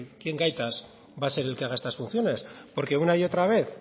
quién gaitas va a ser el que haga estas funciones porque una y otra vez